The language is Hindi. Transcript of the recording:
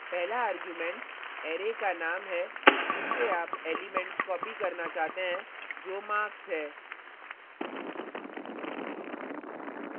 पहला argument array का name है जिससे आप elements copy करना चाहते हैं जो marks है